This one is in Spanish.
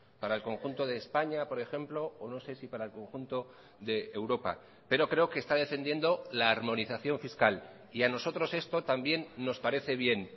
para el conjunto de españa por ejemplo o no sé si para el conjunto de europa pero creo que está defendiendo la armonización fiscal y a nosotros esto también nos parece bien